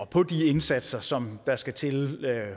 på de indsatser som der skal til